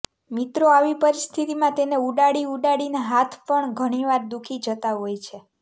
મિત્રો આવી પરિસ્થિતિમાં તેને ઉડાડી ઉડાડીને હાથ પણ ઘણીવાર દુઃખી જતા હોય છે